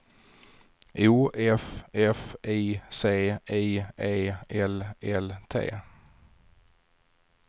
O F F I C I E L L T